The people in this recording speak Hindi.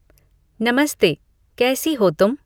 नमस्ते कैसी हो तुम